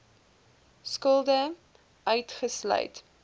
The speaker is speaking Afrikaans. skulde uitgesluit